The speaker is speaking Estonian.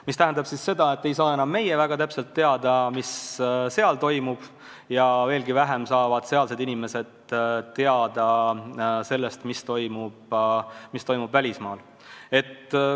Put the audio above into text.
See tähendab seda, et me ei saa enam täpselt teada, mis seal toimub, ja veelgi vähem saavad sealsed inimesed teada sellest, mis toimub välismaal.